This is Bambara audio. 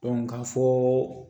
ka fɔ